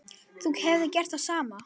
Þú hefðir gert það sama.